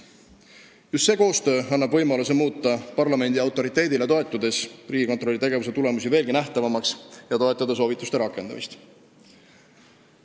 Just see koostöö annab võimaluse muuta parlamendi autoriteedile toetudes Riigikontrolli tegevuse tulemusi veelgi nähtavamaks ja toetada soovituste rakendamist.